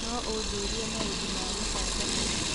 no ũnjĩĩre maũndũ ma gũcanjamũra